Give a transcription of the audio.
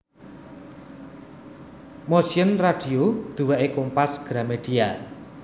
Motion Radio duweke Kompas Gramedia